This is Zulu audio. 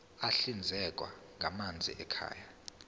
ahlinzekwa ngamanzi ekhaya